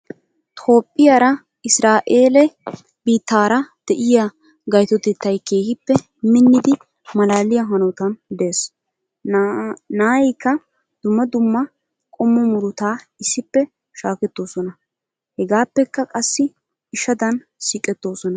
Toophphiyaara Isiraa'eele biittaara diyaa gayitotettayi keehippe minnidi malaaliyaa hanotan des. Naayikka dumma dumma qommo murutaa issippe shaakettoosona hegaapekka qassi ishadan siiqettoosona.